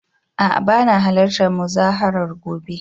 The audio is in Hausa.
A'a bana halartar muzaharar gobe